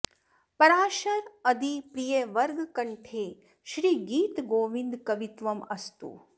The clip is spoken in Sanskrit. पराशर अदि प्रिय वर्ग कण्ठे श्री गीत गोविन्द कवित्वम् अस्तु